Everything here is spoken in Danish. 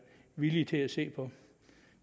villig til at se på